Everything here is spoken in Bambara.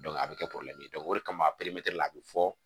a bɛ kɛ o de kama a bɛ fɔ